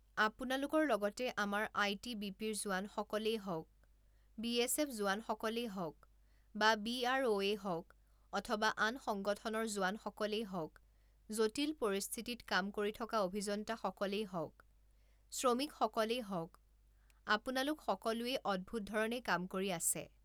আপোনালোকৰ লগতে আমাৰ আই টি বি পিৰ জোৱানসকলেই হওঁক, বিএছএফ জোৱানসকলেই হওঁক, বা বি আৰ অ'ৱেই হওঁক অথবা আন সংগঠনৰ জোৱানসকলেই হওঁক, জটিল পৰিস্থিতিত কাম কৰি থকা অভিযন্তা সকলেই হওঁক, শ্ৰমিক সকলেই হওঁক, আপোনালোক সকলোৱেই অদ্ভূত ধৰণে কাম কৰি আছে।